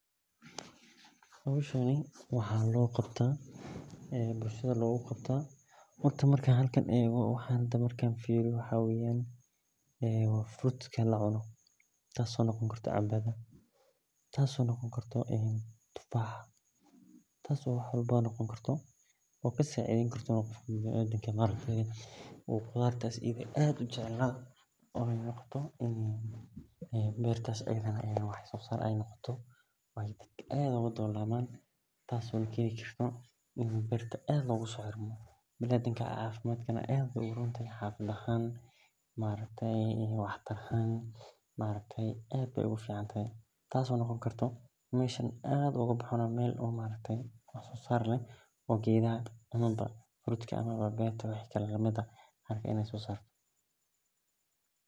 Hoshan waxaa bulshaada logu qabtaa horta tas oo noqoni karto canbada ama tufaxa oo kasacideyni karto qofka bilaadanka tas oo bilaadanka aad ogu ron tas oo noqoni karto mid wax sosar leh ama wa geedka.